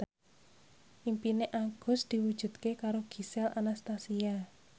impine Agus diwujudke karo Gisel Anastasia